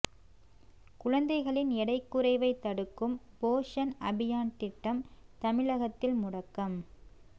குழந்தைகளின் எடை குறைவை தடுக்கும் போஷன் அபியான் திட்டம் தமிழகத்தில் முடக்கம்